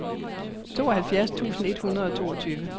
tooghalvfjerds tusind et hundrede og toogtyve